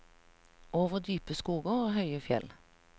Over dype skoger og høye fjell.